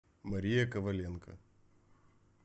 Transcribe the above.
мария коваленко